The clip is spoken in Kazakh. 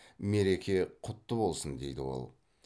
мереке құтты болсын дейді ол